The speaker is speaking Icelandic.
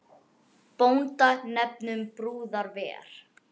Bónda nefnum brúðar ver.